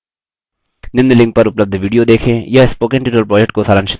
निम्न link पर उपलब्ध video देखें